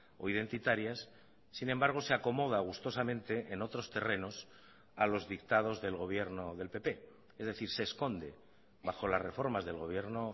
o identitarias sin embargo se acomoda gustosamente en otros terrenos a los dictados del gobierno del pp es decir se esconde bajo las reformas del gobierno